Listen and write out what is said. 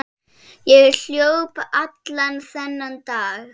Ég hljóp allan þennan dag.